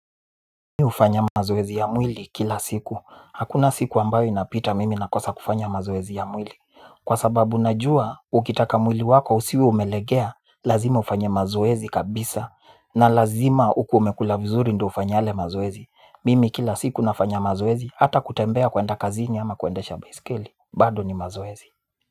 Mimi hufanya mazoezi ya mwili kila siku, hakuna siku ambayo inapita mimi nakosa kufanya mazoezi ya mwili. Kwa sababu najua ukitaka mwili wako usiwe umelegea lazima ufanye mazoezi kabisa na lazima ukuwe umekula vizuri. Ndo ufanye yale mazoezi mimi kila siku nafanya mazoezi hata kutembea kuenda kazini ama kuendesha baiskeli bado ni mazoezi.